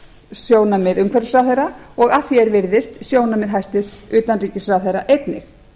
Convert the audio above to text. sjónarmið umhverfisráðherra og að því er virðist sjónarmið hæstvirts utanríkisráðherra einnig